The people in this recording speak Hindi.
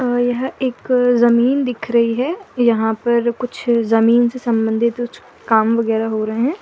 अ यह एक जमीन दीख रही है यहां पर कुछ जमीन से संबंधित कुछ काम वगैरह हो रहे हैं।